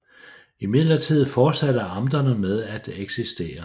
Imidlertid fortsatte amterne med at eksistere